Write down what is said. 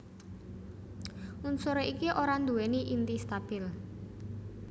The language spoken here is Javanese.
Unsur iki ora nduwèni inti stabil